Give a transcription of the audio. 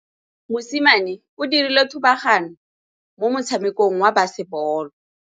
Mosimane o dirile thubaganyô mo motshamekong wa basebôlô.